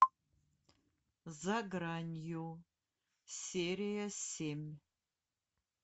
за гранью серия семь